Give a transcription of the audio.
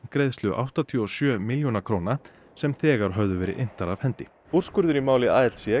greiðslu áttatíu og sjö milljóna króna sem þegar höfðu verið inntar af hendi úrskurður í máli